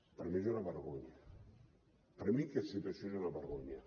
per mi és una vergonya per mi aquesta situació és una vergonya